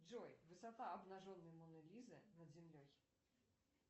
джой высота обнаженной моны лизы над землей